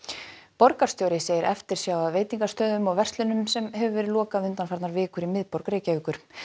borgarstjóri segir eftirsjá að veitingastöðum og verslunum sem hefur verið lokað undanfarnar vikur í miðborg Reykjavíkur